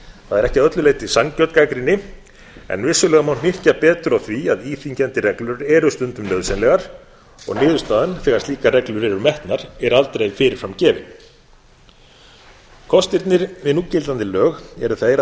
það er ekki að öllu leyti sanngjörn gagnrýni en vissulega má hnykkja betur á því að íþyngjandi reglur eru stundum nauðsynlegar og niðurstaðan þegar slíkar reglur eru metnar er aldrei fyrirframgefin kostirnir við núgildandi lög eru þeir að þar